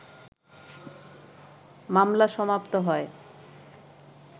মামলা সমাপ্ত হয়